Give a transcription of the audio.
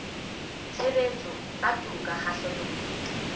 tshebetso tsa toka kgahlanong le